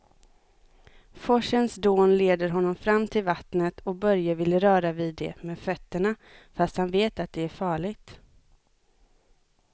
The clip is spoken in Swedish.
Forsens dån leder honom fram till vattnet och Börje vill röra vid det med fötterna, fast han vet att det är farligt.